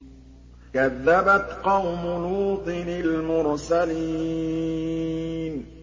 كَذَّبَتْ قَوْمُ لُوطٍ الْمُرْسَلِينَ